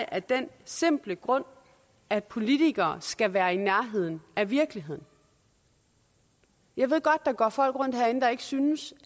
af den simple grund at politikere skal være i nærheden af virkeligheden jeg ved godt er folk herinde der ikke synes